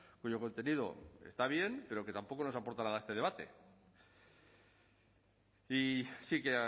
cuyo contenido está bien pero que tampoco nos aporta nada a este debate y sí que